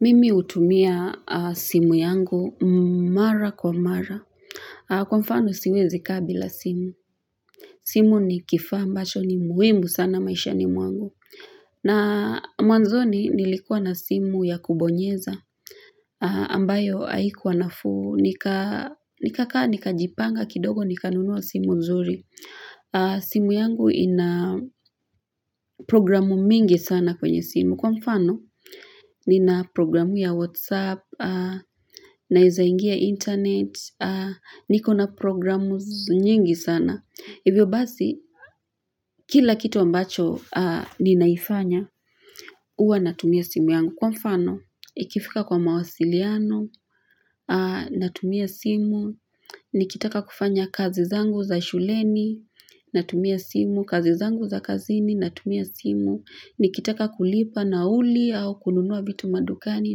Mimi hutumia simu yangu mara kwa mara. Kwa mfano siwezi kaa bila simu. Simu ni kifaa ambacho ni muhimu sana maisha mwangu. Na mwanzoni nilikuwa na simu ya kubonyeza. Ambayo haikuwa nafuu. Nikakaa, nikajipanga kidogo, nikanunua simu nzuri. Simu yangu ina programu mingi sana kwenye simu. Kwa mfano, nina programu ya Whatsapp, naweza ingia internet, niko na programu nyingi sana. Hivyo basi, kila kitu ambacho ninaifanya, huwa natumia simu yangu. Kwa mfano, ikifika kwa mawasiliano, natumia simu, nikitaka kufanya kazi zangu za shuleni, natumia simu, kazi zangu za kazini, natumia simu. Nikitaka kulipa nauli au kununua vitu madukani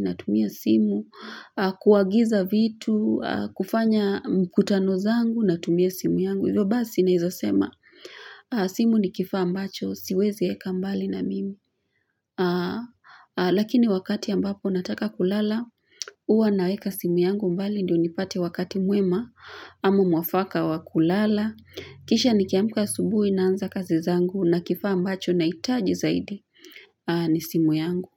natumia simu kuagiza vitu, kufanya mkutano zangu natumia simu yangu. Hivyo basi naweza sema simu ni kifaa ambacho, siwezi weka mbali na mimi Lakini wakati ambapo nataka kulala huwa naweka simu yangu mbali ndio nipate wakati mwema ama mwafaka wa kulala Kisha nikiamka asubuhi naanza kazi zangu na kifaa ambacho nahitaji zaidi ni simu yangu.